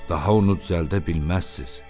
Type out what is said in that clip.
Daha onu düzəldə bilməzsiniz.